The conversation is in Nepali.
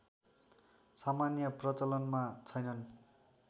सामान्य प्रचलनमा छैनन्